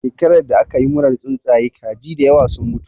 Shekarar da aka yi murar tsuntsaye, kaji da yawa sun mutu.